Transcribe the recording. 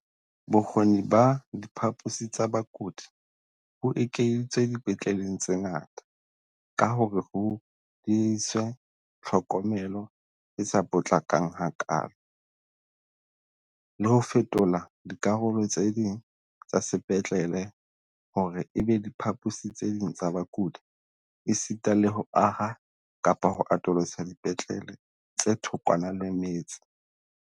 Bokgoni ba diphaposi tsa bakudi bo ekeditswe dipetleleng tse ngata ka hore ho diehiswe tlhokomelo e sa potlakang hakaalo, le ho fetola dikarolo tse ding tsa sepetlele hore e be diphaposi tse ding tsa bakudi esita le ho aha kapa ho atolosa dipetlele tse thokwana le metse.